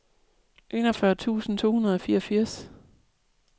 enogfyrre tusind to hundrede og fireogfirs